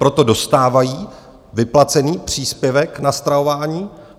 Proto dostávají vyplacený příspěvek na stravování.